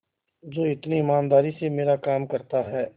जो इतनी ईमानदारी से मेरा काम करता है